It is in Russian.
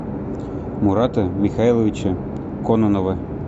мурата михайловича кононова